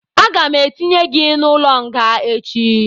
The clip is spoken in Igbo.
Aga m etinye gị n'ụlọ nga echi